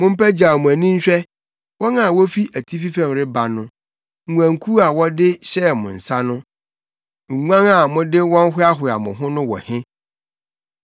Mo mpagyaw mo ani nhwɛ wɔn a wofi atifi fam reba no. Nguankuw a wɔde hyɛɛ mo nsa no, nguan a mode wɔn hoahoaa mo ho no wɔ he?